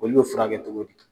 Olu bo furakɛ cogo di?